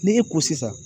Ni e ko sisan